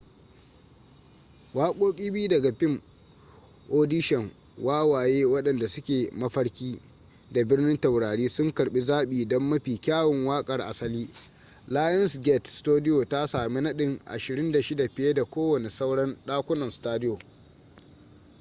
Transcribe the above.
waƙoƙi biyu daga fim audition wawaye waɗanda suke mafarki da birnin taurari sun karɓi zaɓi don mafi kyawun waƙar asali. lionsgate studio ta sami nadin 26 - fiye da kowane sauran ɗakunan studio